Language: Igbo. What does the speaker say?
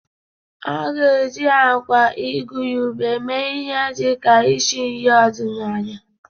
A ga-eji agwa igurube mee ihe dị ka isi nri ọdịnala.